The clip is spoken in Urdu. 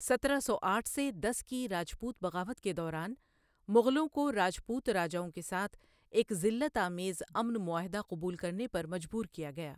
سترہ سو آٹھ سے دس کی راجپوت بغاوت کے دوران، مغلوں کو راجپوت راجاوؑں کے ساتھ ایک ذلت آمیز امن معاہدہ قبول کرنے پر مجبور کیا گیا۔